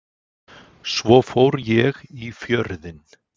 Svo fór ég í Fjörðinn.